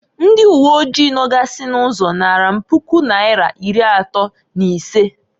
Ndị uwe oji nogasị n'ụzọ naara m Puku naira iri atọọ n'isee.